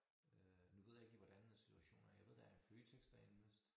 Øh nu ved jeg ikke lige hvordan situationen er jeg ved der er en Føtex derinde vist